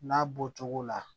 N'a bɔcogo la